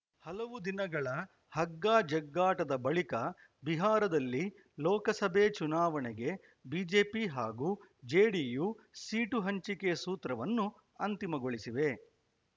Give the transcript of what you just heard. ಹಲವು ದಿನಗಳ ಹಗ್ಗ ಜಗ್ಗಾಟದ ಬಳಿಕ ಬಿಹಾರದಲ್ಲಿ ಲೋಕಸಭೆ ಚುನಾವಣೆಗೆ ಬಿಜೆಪಿ ಹಾಗೂ ಜೆಡಿಯು ಸೀಟು ಹಂಚಿಕೆ ಸೂತ್ರವನ್ನು ಅಂತಿಮಗೊಳಿಸಿವೆ